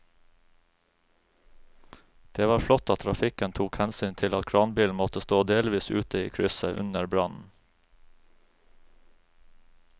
Det var flott at trafikken tok hensyn til at kranbilen måtte stå delvis ute i krysset under brannen.